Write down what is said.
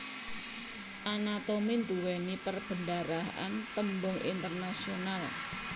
Anatomi nduwèni perbendaharaan tembung internasional